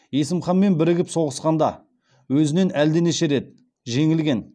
есім ханмен бірігіп соғысқанда өзінен әлденеше рет жеңілген